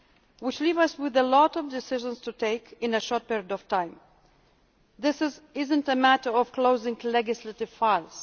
Which leaves us with a lot of decisions to take in a short period of time. This is not a matter of closing legislative files.